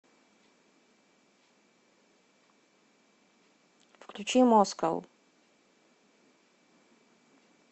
включи москау